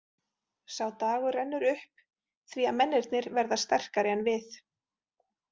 Sá dagur rennur upp því að mennirnir verða sterkari en við.